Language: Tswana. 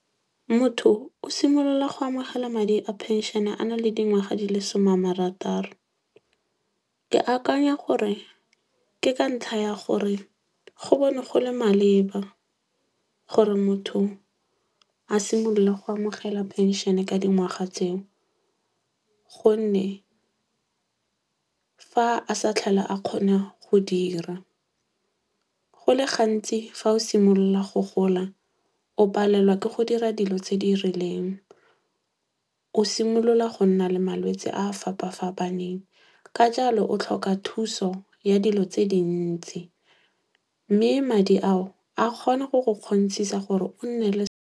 Motho o simolola go amogela madi a phenšene a na le dingwaga di le some a marataro. Ke akanya gore ke ka ntlha ya gore go bona go le maleba gore motho a simololle go amogela phenšene ka dingwaga tseo. Gonne fa a sa tlhole a kgona go dira. Go le gantsi fa o simolola go gola o palelwa ke go dira dilo tse di rileng. O simolola go nna le malwetse a a fapa-fapaneng. Ka jalo o tlhoka thuso ya dilo tse dintsi. Mme madi ao a kgona go go kgontshisa gore o nne le .